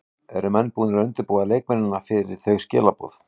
Eru menn búnir að undirbúa leikmenn fyrir þau skilaboð?